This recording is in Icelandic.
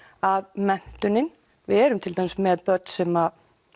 að menntunin við erum til dæmis með börn sem